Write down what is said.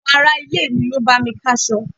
Àwọn ará-ilé mi ló bá mi ká'sọ.